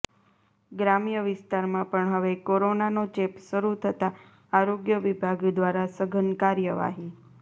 ગ્રામ્ય વિસ્તારમાં પણ હવે કોરોનાનો ચેપ શરૂ થતાં આરોગ્ય વિભાગ દ્વારા સઘન કાર્યવાહી